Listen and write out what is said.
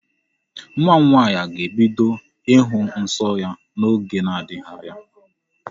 Nwa m nwaanyị ga-ebido ịhụ nsọ ya n'oge na-adịghị anya.